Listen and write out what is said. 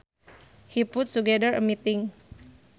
He put together a meeting